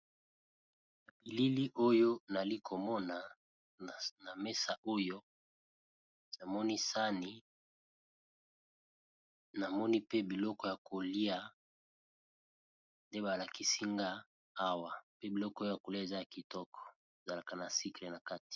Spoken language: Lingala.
Na bilili oyo nayali komona na mesa oyo namoni sani namoni pe biloko ya kolia nde ba lakisinga awa pe biloko oyo ya ko lia eza ya kitoko ezalaka na sucre na kati.